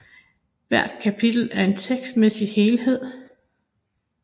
Hvert kapitel er en tekstmæssig helhed